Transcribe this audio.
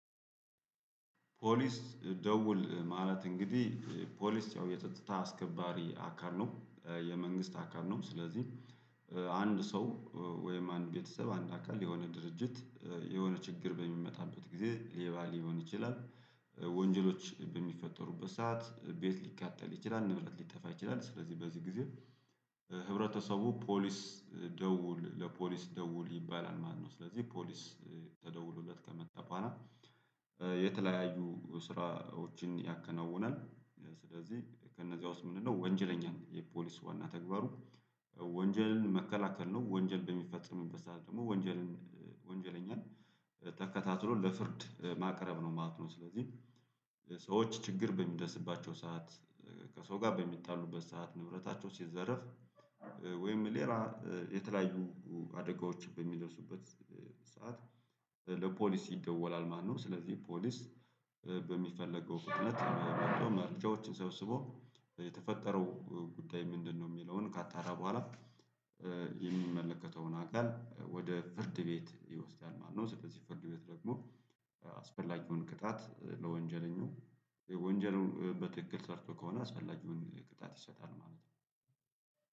ፖሊስ ደውል ማለት እንግዲህ ፖሊስ ያው የጸጥታ አስከባሪ አካል ነው የመንግስት አካል ነው። ስለዚህ አንድ ሰው ወይም አንድ ቤተሰብ አንድ አካል የሆነ ድርጅት የሆነ ችግር በሚመጣበት ጊዜ ሌባ ሊሆን ይችላል። ወንጀሎች በሚፈጠሩበት ሰዓት ቤት ሊቃጠል ይችላል ንብረት ሊጠፋ ይችላል ስለዚህ በዚህ ጊዜ። ህብረተሰቡ ፖሊስ ደውል ለፖሊስ ደውል ይባላል ማለት ነው። ስለዚህ ፖሊስ ተደውሎለት ከመጣ በኋላ የተለያዩ ስራዎችን ያከናውናል። ስለዚህ ከነዚያ ውስጥ ምንድነው ወንጀለኛ የፖሊስ ዋና ተግባሩ? ወንጀልን መከላከል ነው ወንጀል በሚፈጸም ሰዓት ደግሞ ወንጀልን ወንጀለኛን ተከታትሎ ለፍርድ ማቅረብ ነው ማለት ነው። ስለዚህ ሰዎች ችግር በሚደርስባቸው ሰዓት ከሰው ጋር በሚጣሉበት ሰዓት ንብረታቸው ሲዘረፍ ወይም ሌላ የተለያዩ አደጋዎች በሚደርሱበት ሰዓት ለፖሊስ ይደወላል ማለት ነው። ስለዚህ ፖሊስ በሚፈለገው ፍጥነት መርጃዎችን ሳብስቦ የተፈጠረው ጉዳይ ምንድነው የሚለውን ካጣራ በኋላ የሚመለከተውን አካል ወደ ፍርድ ቤት ይወስዳል ማለት ነው። ስለዚህ ፍርድ ቤት ደግሞ አስፈላጊውን ቅጣት ለወንጀለኛው ወንጀሉን በትክክል ሰርቶ ከሆነ አስፈላግውን ቅጣት ይሰጣል ማለት ነው።